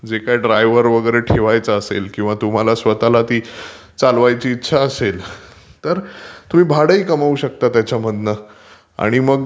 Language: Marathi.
जे काय ड्रायव्हर वगैरे ठेवायचा असेल किंवा तुम्हाला स्वतःला ती चालवायची इच्छा असेल तर तुम्ही भाडही कमावू शकता त्याच्यामधनं. आणि ....